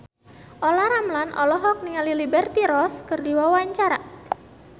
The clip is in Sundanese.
Olla Ramlan olohok ningali Liberty Ross keur diwawancara